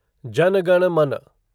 जाना गाना माना